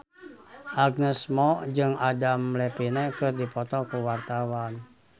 Agnes Mo jeung Adam Levine keur dipoto ku wartawan